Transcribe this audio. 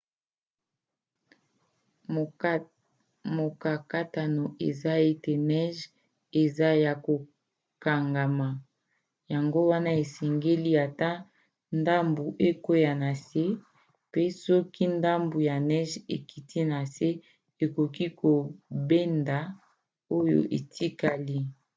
mokakatano eza ete neige eza ya kokangama yango wana esengeli ata ndambu ekwea na se mpe soki ndambu ya neige ekiti na se ekoki kobenda oyo etikali